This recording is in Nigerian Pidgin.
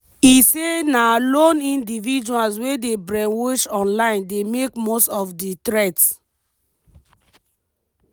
e say na “lone individuals wey dey brainwashed online" dey make most of di threat.